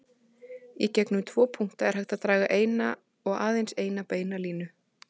Í gegnum tvo punkta er hægt að draga eina og aðeins eina beina línu.